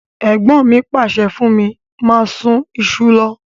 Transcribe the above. Ègbọ́n mi pàsẹ fún mí máa sun isu lo